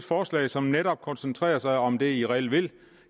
forslag som netop koncentrerer sig om det man reelt vil